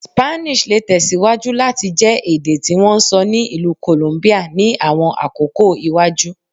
Spanish le tẹsiwaju lati jẹ ede ti won n sọ ni Ilu Columbia ni awọn akoko iwaju